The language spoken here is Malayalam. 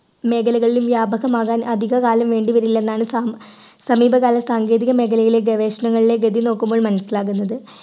മേഖലകളിലും വ്യാപകമാകാൻ അധികകാലം വേണ്ടിവരില്ലെന്നാണ് സമ സമീപകാല സാങ്കേതിക മേഖലയിലെ ഗവേഷണങ്ങളിലെ ഗതി നോക്കുമ്പോൾ മനസ്സിലാകുന്നത്